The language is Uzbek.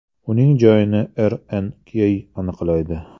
Uning joyini RNK aniqlaydi.